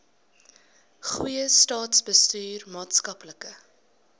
goeie staatsbestuur maatskaplike